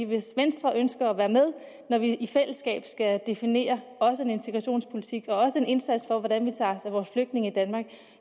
hvis venstre ønsker at være med når vi i fællesskab skal definere også en integrationspolitik og også en indsats for hvordan vi tager os af vores flygtninge i danmark